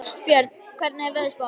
Ástbjörn, hvernig er veðurspáin?